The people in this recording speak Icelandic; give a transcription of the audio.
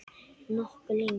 Nokkuð lengi.